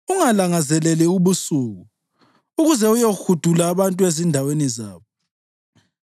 Ungalangazeleli ubusuku, ukuze uyohudula abantu ezindaweni zabo.